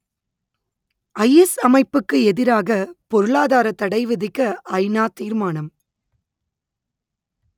IS அமைப்புக்கு எதிராக பொருளாதாரத் தடை விதிக்க ஐநா தீர்மானம்